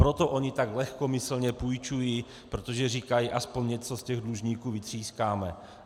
Proto oni tak lehkomyslně půjčují, protože říkají, aspoň něco z těch dlužníků vytřískáme.